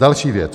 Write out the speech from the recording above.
Další věc.